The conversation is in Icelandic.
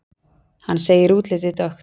Hann segir útlitið dökkt.